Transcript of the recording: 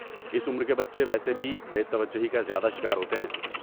اس عمر کے بچے ویسے بھی بے توجہی کا زیادہ شکار ہوتے ہیں۔